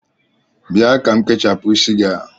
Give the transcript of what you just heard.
Bịa ka m kechapụ isi gị a!